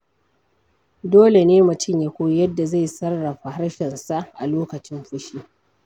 Dole ne mutum ya koyi yadda zai sarrafa harshensa a lokacin fushi.